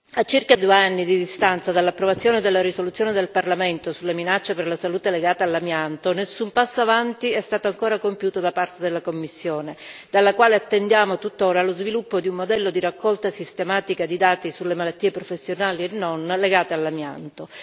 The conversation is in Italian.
A circa due anni di distanza dall'approvazione della risoluzione del Parlamento sulla minaccia per la salute legata all'amianto, nessun passo avanti è stato ancora compiuto da parte della Commissione, dalla quale attendiamo tuttora lo sviluppo di un modello di raccolta sistematica di dati sulle malattie, professionali e non, legate all'amianto.